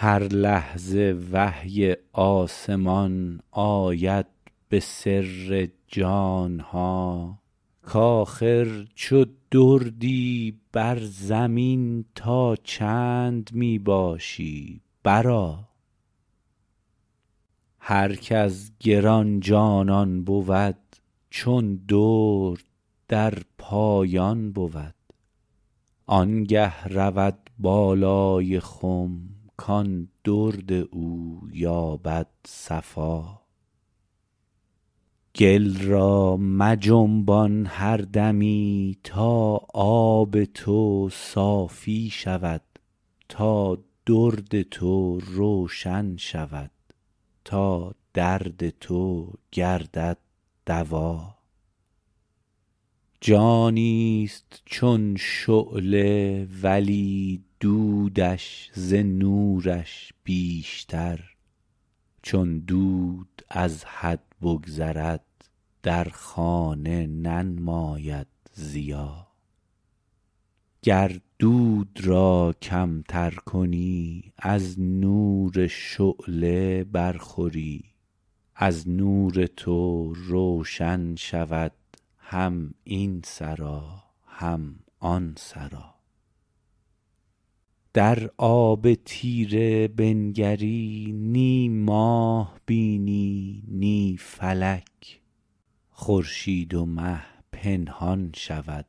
هر لحظه وحی آسمان آید به سر جان ها کاخر چو دردی بر زمین تا چند می باشی برآ هر کز گران جانان بود چون درد در پایان بود آنگه رود بالای خم کان درد او یابد صفا گل را مجنبان هر دمی تا آب تو صافی شود تا درد تو روشن شود تا درد تو گردد دوا جانیست چون شعله ولی دودش ز نورش بیشتر چون دود از حد بگذرد در خانه ننماید ضیا گر دود را کمتر کنی از نور شعله برخوری از نور تو روشن شود هم این سرا هم آن سرا در آب تیره بنگری نی ماه بینی نی فلک خورشید و مه پنهان شود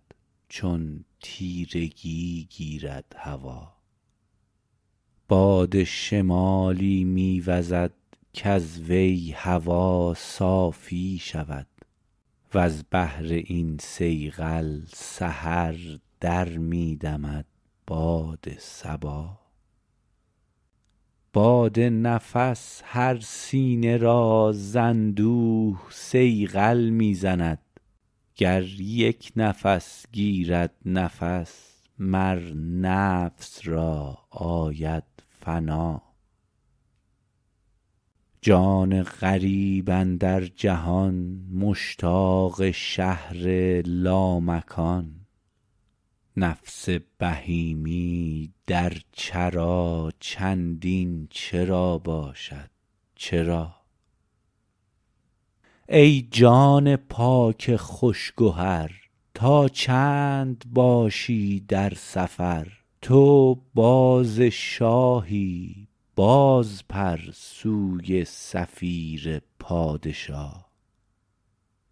چون تیرگی گیرد هوا باد شمالی می وزد کز وی هوا صافی شود وز بهر این صیقل سحر در می دمد باد صبا باد نفس مر سینه را ز اندوه صیقل می زند گر یک نفس گیرد نفس مر نفس را آید فنا جان غریب اندر جهان مشتاق شهر لامکان نفس بهیمی در چرا چندین چرا باشد چرا ای جان پاک خوش گهر تا چند باشی در سفر تو باز شاهی بازپر سوی صفیر پادشا